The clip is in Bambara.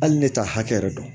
Hali ne ta hakɛ yɛrɛ don